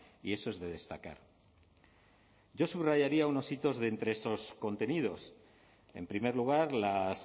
y eso es de destacar yo subrayaría unos hitos de entre esos contenidos en primer lugar las